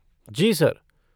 जी, sir.